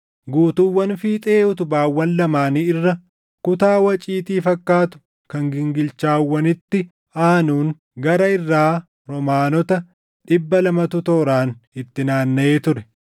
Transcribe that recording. Guutuuwwan fiixee utubaawwan lamaanii irra kutaa waciitii fakkaatu kan gingilchaawwanitti aanuun gara irraa roomaanoota dhibba lamatu tooraan itti naannaʼee ture.